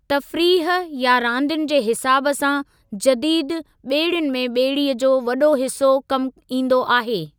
तफ़रीह या रांदियुनि जे हिसाब सां जदीदु ॿेड़ियुनि में ॿेड़ीअ जो वॾो हिसो कमु ईंदो आहे।